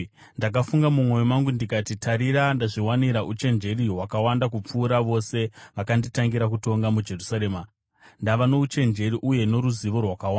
Ndakafunga mumwoyo mangu ndikati, “Tarira, ndazviwanira uchenjeri hwakawanda kupfuura vose vakanditangira kutonga muJerusarema; ndava nouchenjeri uye noruzivo rwakawanda.”